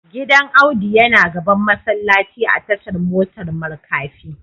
Gidan Audu yana gaban masallaci a tashar motar markafi